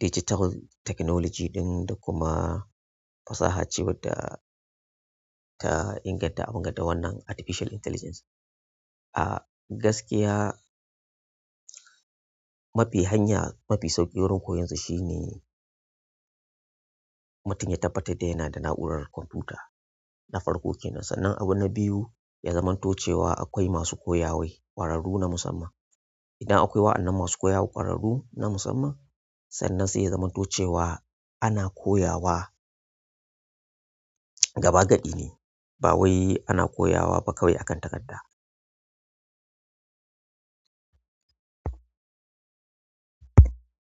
digital technology ɗin da kuma fasaha ce wadda ta inganta abin ga da wannan artificial intelligence. Ah gaskiya mafi hanya mafi sauƙi wurin koyonsa shine mutum ya tabbatar da yana da na'urar kwamfuta. Na farko kenan sannan abu na biyu ya zamanto cewa akwai masu koya mai ƙwararru na musamman. Idan akwai waɗannan masu koyawa ƙwararru na musamman sannan sai ya zamto cewa ana koyawa gaba gadi ba wai ana koya wa ba kawai akan takarda.